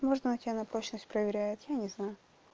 может она тебя на прочность проверяет я не знаю